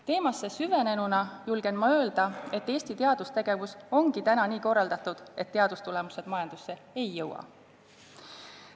Teemasse süvenenuna julgen ma öelda, et Eesti teadustegevus ongi täna nii korraldatud, et teadustulemused majandusse ei jõua.